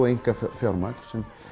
einkafjármagn